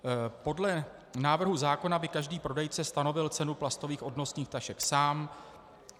Podle návrhu zákona by každý prodejce stanovil cenu plastových odnosných tašek sám.